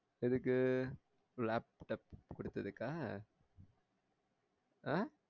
எதுக்கு laptop குடுத்ததுக்கா ஆஹ்